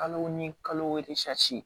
Kalo ni kalo